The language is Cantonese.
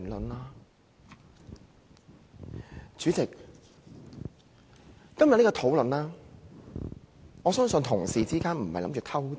代理主席，對於今天這項討論，我相信同事並非想"偷襲"。